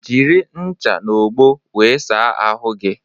Jiri ṅcha n'ogbo wee saa ahụ gi